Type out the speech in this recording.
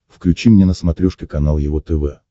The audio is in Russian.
включи мне на смотрешке канал его тв